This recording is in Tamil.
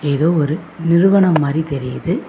இது ஒரு நிறுவனம் மாரி தெரியுது.